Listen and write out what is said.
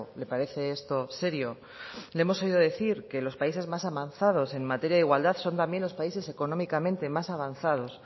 le parece esto serio le hemos oído decir que los países más avanzadas en materia de igualdad son también los países económicamente más avanzados